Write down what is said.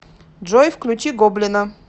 джой включи гоблина